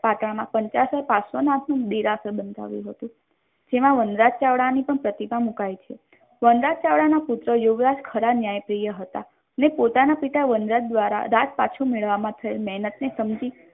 પાટણમાં પંચાસર પાર્શ્વનાથ ન્યુ દેરાસર બંધાવ્યું હતું જેમાં વનરાજ ચાવડા ની પણ પ્રતિમા મુકાઈ છે વનરાજ ચાવડાના પુત્ર યુવરાજ ખરા ન્યાય પ્રિય હતા ને પોતાના પિતા વનરાજ દ્વારા રાજ પાછુ મેળવવાની મહેનતને સમજીને